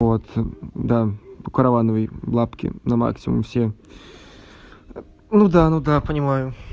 вот да у коровановой лапки на максимум все ну да ну да понимаю